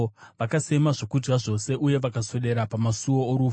Vakasema zvokudya zvose, uye vakaswedera pamasuo orufu.